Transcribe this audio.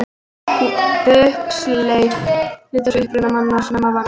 Huxley lét sig uppruna manna snemma varða.